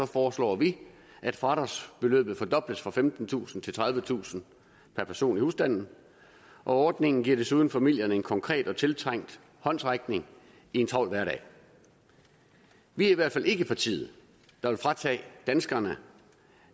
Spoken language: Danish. foreslår vi at fradragsbeløbet fordobles fra femtentusind til tredivetusind per person i husstanden ordningen giver desuden familierne en konkret og tiltrængt håndsrækning i en travl hverdag vi er i hvert fald ikke partiet der vil fratage danskerne